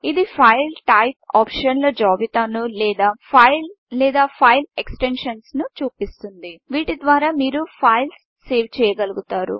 ఇది file type ఆప్షన్ల జాబితాను లేదా ఫైల్ ఎక్స్టెన్షన్స్ చూపిస్తుంది వీటి ద్వారా మీరు మీ ఫైల్ను సేవ్ చేయగలుగుతారు